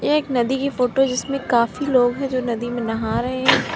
एक नदी की फोटो है जिसमें काफी लोग हैं जो नदी में नहा रहे हैं।